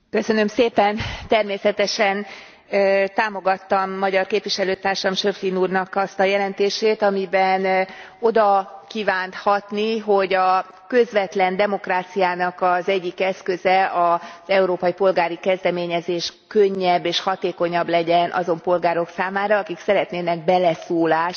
Természetesen támogattam magyar képviselőtársam, Schöpflin úrnak azt a jelentését, amiben oda kívánt hatni, hogy a közvetlen demokráciának az egyik eszköze, az európai polgári kezdeményezés könnyebb és hatékonyabb legyen azon polgárok számára, akik szeretnének beleszólást az Európai